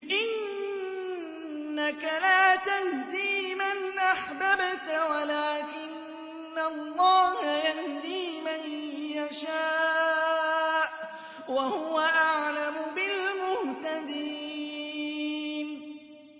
إِنَّكَ لَا تَهْدِي مَنْ أَحْبَبْتَ وَلَٰكِنَّ اللَّهَ يَهْدِي مَن يَشَاءُ ۚ وَهُوَ أَعْلَمُ بِالْمُهْتَدِينَ